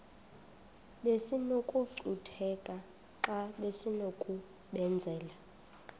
besinokucutheka xa besinokubenzela